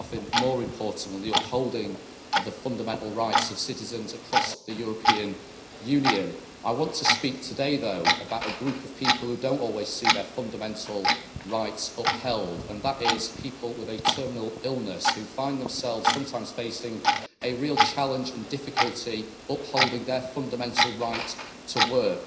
There is nothing more important than the upholding of the fundamental rights of citizens across the European Union. I want to speak today though, about a group of people who do not always see their fundamental rights upheld, and that is people with a terminal illness who sometimes find themselves facing a real challenge and difficulty in upholding their fundamental right to work.